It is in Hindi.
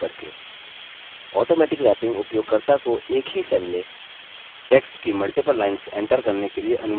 automatic wrapping उपयोगकर्ता को एक ही cell में text की multiple lines enter करने के लिए अनुमति देता है